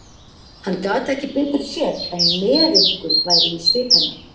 Hann gat ekki betur séð en meðaumkun væri í svip hennar.